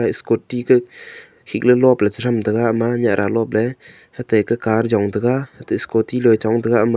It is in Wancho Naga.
scooty ko hiklo lop pecher ram tega ama nyah ra lop le hate car jong tega hanto scooty rochong tega hama.